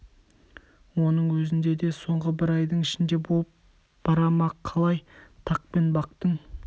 оның өзінде де соңғы бір айдың ішінде болып бара ма қалай тақ пен бақтың